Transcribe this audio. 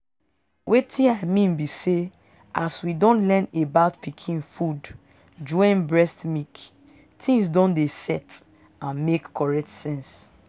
wetin i mean be say as we don learn about pikin food join breast milk things don dey set and make correct sense.